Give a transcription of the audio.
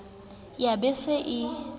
ya be e se e